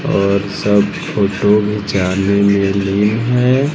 और सब फोटो घिचाने में लीन है।